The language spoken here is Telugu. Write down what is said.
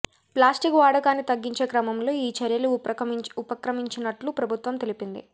ప్లాస్టిక్ వాడకాన్ని తగ్గించే క్రమంలో ఈ చర్యలు ఉపక్రమించినట్లు ప్రభుత్వం తెలిపింది